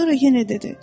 Sonra yenə dedi.